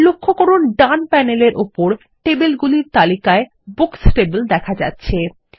লক্ষ্য করুন ডান প্যানেলের উপর টেবিলগুলির তালিকায় বুকস টেবিল দেখা যাচ্ছে